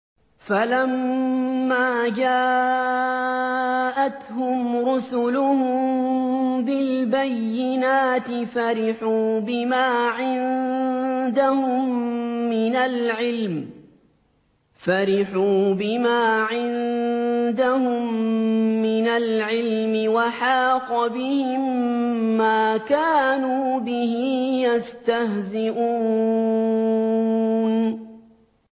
فَلَمَّا جَاءَتْهُمْ رُسُلُهُم بِالْبَيِّنَاتِ فَرِحُوا بِمَا عِندَهُم مِّنَ الْعِلْمِ وَحَاقَ بِهِم مَّا كَانُوا بِهِ يَسْتَهْزِئُونَ